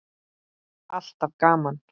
Alltaf gaman.